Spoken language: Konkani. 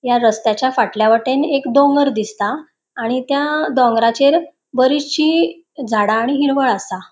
या रस्त्याच्या फाटल्या वटेन एक दोंगोर दिसता आणि त्या दोंगराचेर बरिचशी झाडा आणि हिरवळ आसा.